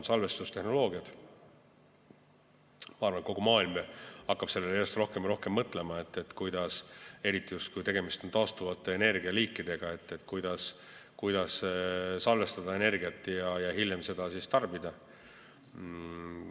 Ma arvan, et kogu maailm hakkab järjest rohkem mõtlema, eriti kui tegemist on taastuvate energialiikidega, kuidas energiat salvestada ja seda hiljem tarbida.